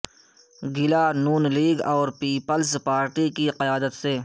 گلہ ن لیگ اور پیپلز پارٹی کی قیادت سے